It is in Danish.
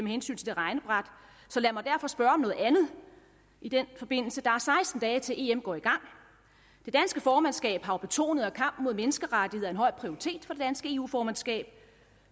hensyn til det regnebræt så lad mig derfor spørge om noget andet i den forbindelse der er seksten dage til em går i gang det danske formandskab har jo betonet at kampen mod menneskerettigheder er en høj prioritet for det danske eu formandskab